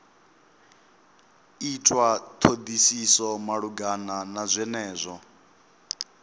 itwa thodisiso malugana na zwenezwo